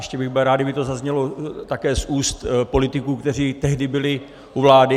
Ještě bych byl rád, kdyby to zaznělo také z úst politiků, kteří tehdy byli u vlády.